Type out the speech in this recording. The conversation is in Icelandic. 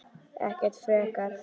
Ekkert frekar.